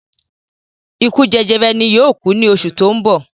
Ikú jẹjẹrẹ ni yóò ku ní oṣù ti oun bo